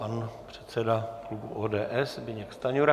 Pan předseda klubu ODS Zbyněk Stanjura.